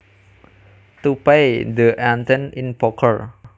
To pay the ante in poker